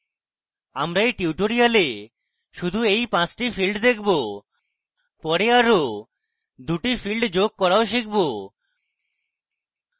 আমরা we tutorial শুধুমাত্র we পাঁচটি fields দেখব পরে আরো দুটি fields যোগ করাও শিখব